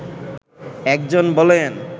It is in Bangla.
একজন বলেন